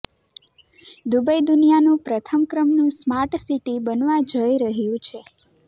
Dubai દુનિયાનું પ્રથમ ક્રમનું સ્માર્ટસિટી બનવા જઇ રહ્યું છે